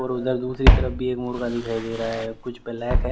और उधर दूसरी तरफ भी एक मुर्गा दिखाई दे रहा है ब्लैक है।